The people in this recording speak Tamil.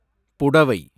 புடவை